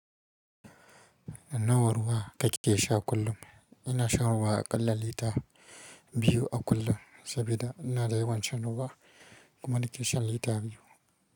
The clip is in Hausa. Nawa ruwa kake sha kullum? Ina shan ruwa aƙalla lita biyu a kullum saboda ina da yawan shan ruwa kuma nake shan lita biyu.